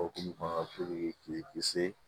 Okumu kɔnɔ k'i kisi